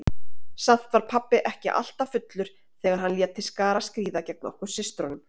Samt var pabbi ekki alltaf fullur þegar hann lét til skarar skríða gegn okkur systrunum.